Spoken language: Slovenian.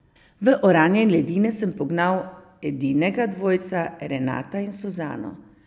V oranje ledine sem pognal edinega dvojca, Renata in Suzano.